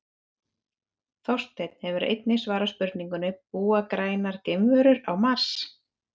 Þorsteinn hefur einnig svarað spurningunni Búa grænar geimverur á Mars?